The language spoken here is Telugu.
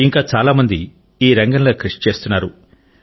ఇంకా చాలా మంది ఈ రంగంలో కృషి చేస్తున్నారు